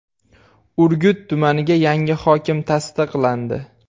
Urgut tumaniga yangi hokim tasdiqlandi.